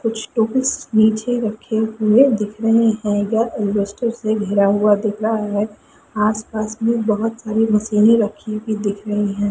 कुछ टूल्स नीचे रखे हुए दिख रहे है यह इन्वेस्टर से घिरा हुआ दिख रहा है जिसमें बहुत सारी मशीनें दिख रही हैं।